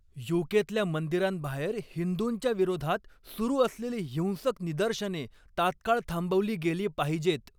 यू.के.तल्या मंदिरांबाहेर हिंदूंच्या विरोधात सुरू असलेली हिंसक निदर्शने तात्काळ थांबवली गेली पाहिजेत.